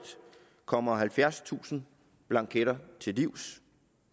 kommer halvfjerdstusind blanketter til livs